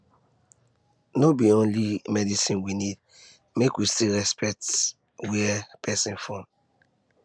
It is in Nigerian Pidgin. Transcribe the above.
no be be only medicine we need make we still respect where person from